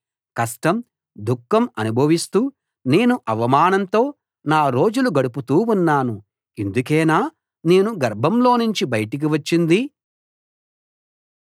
కష్టం దుఖం అనుభవిస్తూ నేను అవమానంతో నా రోజులు గడుపుతూ ఉన్నాను ఇందుకేనా నేను గర్భంలోనుంచి బయటికి వచ్చింది